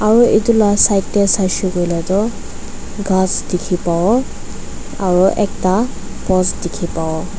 aru itu na side teh saishey kuile tu ghas dikhi pawo aru ekta post dikhi pawo.